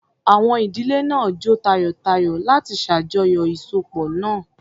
Àwọn ìdílé náà jó tayọ̀tayọ̀ láti ṣàjọyọ̀ ìsopọ̀ náà.